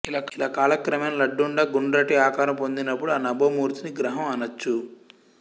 ఇలా కాలక్రమేణా లడ్డుండ గుండ్రటి ఆకారం పొందినప్పుడు ఆ నభోమూర్తిని గ్రహం అనొచ్చు